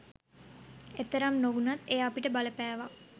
එතරම් නොවුණත් එය අපිට බලපෑවා.